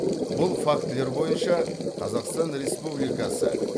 бұл фактілер бойынша қазақстан республикасы